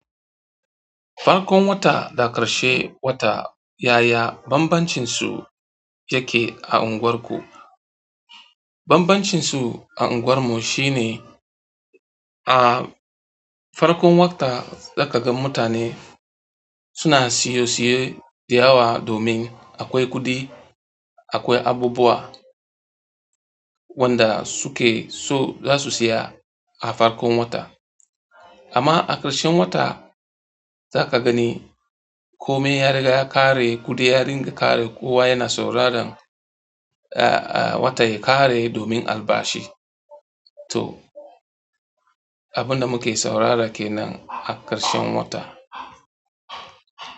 Farkon wata da ƙarshen wata, yaya bambancinsu yake a unguwarku? Bambancin su a unguwar mu shine, a farkon wata za ka ga mutane suna siye-siye da yawa domin akwai kuɗi, akwai abubuwa wanda suke so zasu siya a farkon wata amma a ƙarshen wata, za ka gani kome ya riga ya ƙare, kuɗi ya riga ƙare, kowa yana sauraron, wata ya ƙare domin albashi. To, abin da muke saurara ke nan a ƙarshen wata.